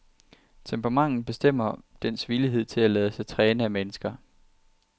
Temperamentet bestemmer dens villighed til at lade sig træne af mennesker.